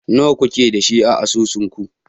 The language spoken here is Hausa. Nawa kuke da shi a asusunku?